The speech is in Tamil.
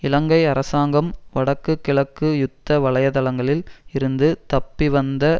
இலங்கை அரசாங்கம் வடக்கு கிழக்கு யுத்த வலயதளங்களில் இருந்து தப்பி வந்த